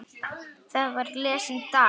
Þar var lesinn David